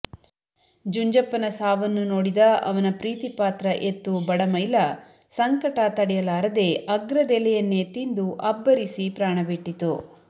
ಜುಂಜಪ್ಪನ ಸಾವನ್ನು ನೋಡಿದ ಅವನ ಪ್ರೀತಿಪಾತ್ರ ಎತ್ತು ಬಡಮೈಲ ಸಂಕಟ ತಡೆಯಲಾರದೆ ಅಗ್ರದೆಲೆಯನ್ನೇ ತಿಂದು ಅಬ್ಬರಿಸಿ ಪ್ರಾಣಬಿಟ್ಟಿತು